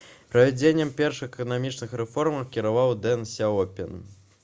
правядзеннем першых эканамічных рэформаў кіраваў дэн сяопін